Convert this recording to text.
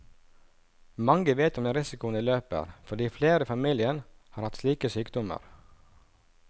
Mange vet om den risikoen de løper, fordi flere i familien har hatt slike sykdommer.